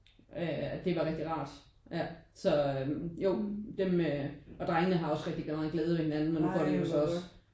Øh det var rigtig rart ja så jo dem øh og drengene har også rigtig meget glæde ved hinanden og nu går de jo så også